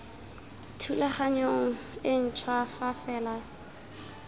thulaganyong e ntšhwa fa fela